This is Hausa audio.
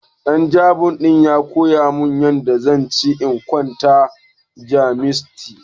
Ɗan Jamus ɗin ya koya min yanda zan ce ina kwana da Jamusanci.